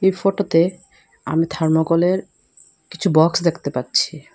এই ফটোতে আমি থার্মোকলের কিছু বক্স দেখতে পাচ্ছি।